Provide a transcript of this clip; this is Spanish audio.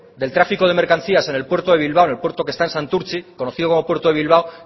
del trafico de mercancías en el puerto de bilbao en el puerto que está en santurtzi conocido como el puerto de bilbao